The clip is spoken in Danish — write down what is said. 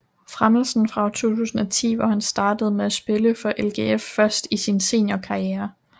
Fremelsen fra år 2010 hvor han startede med at spille for LGF først i sin seniorkarriere